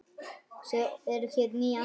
Svo eru hér ný andlit.